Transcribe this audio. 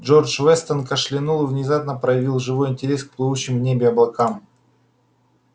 джордж вестон кашлянул и внезапно проявил живой интерес к плывущим в небе облакам